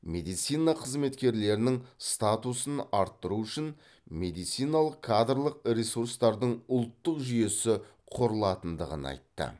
медицина қызметкерлерінің статусын арттыру үшін медициналық кадрлық ресурстардың ұлттық жүйесі құрылатындығын айтты